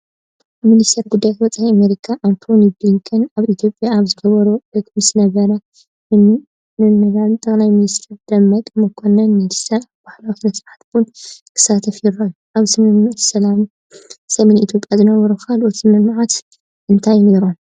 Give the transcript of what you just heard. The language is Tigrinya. ሚኒስትር ጉዳያት ወፃኢ ኣሜሪካ ኣንቶኒ ብሊንከን ኣብ ኢትዮጵያ ኣብ ዝገብርዎ ዑደት ምስ ነበር ም/ጠ/ሚ/ር ደመቀ መከነን ሚኒስትር ኣብ ባህላዊ ስነ-ስርዓት ቡን ክሳተፉ ይረኣዩ። ኣብ ስምምዕ ሰላም ሰሜን ኢትዮጵያ ዝነበሩ ካልኦት ስምምዓት እንታይ ነይሮም?